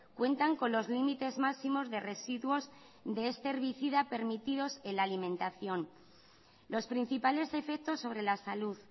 cuentan con los límites máximos de residuos de este herbicida permitidos en la alimentación los principales efectos sobre la salud